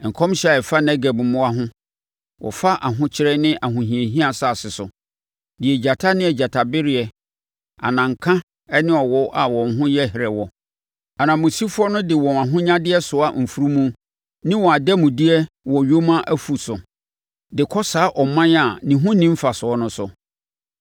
Nkɔmhyɛ a ɛfa Negeb mmoa ho: wɔfa ahokyere ne ahohiahia asase so, deɛ agyata ne agyatabereɛ, ananka ne awɔ a wɔn ho yɛ herɛ wɔ. Ananmusifoɔ no de wɔn ahonyadeɛ soa mfunumu ne wɔn ademudeɛ wɔ nyoma afu so, de kɔ saa ɔman a ne ho nni mfasoɔ no so,